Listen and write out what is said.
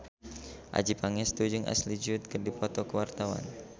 Adjie Pangestu jeung Ashley Judd keur dipoto ku wartawan